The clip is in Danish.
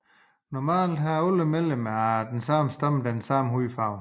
Normalt har alle medlemmer af en stamme den samme hudfarve